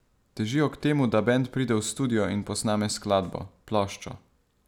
Težijo k temu, da bend pride v studio in posname skladbo, ploščo.